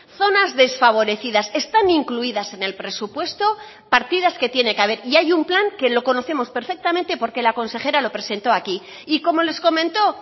zonas desfavorecidas están incluidas en el presupuesto partidas que tiene que haber y hay un plan que lo conocemos perfectamente porque la consejera lo presentó aquí y como les comentó